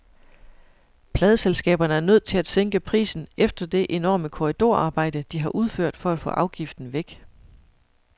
Pladeselskaberne er nødt til at sænke prisen efter det enorme korridorarbejde, de har udført for at få afgiften væk.